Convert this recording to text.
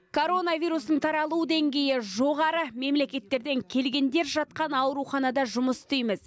коронавирустың таралу деңгейі жоғары мемлекеттерден келгендер жатқан ауруханада жұмыс істейміз